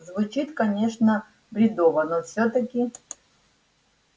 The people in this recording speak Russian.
звучит конечно бредово но всё-таки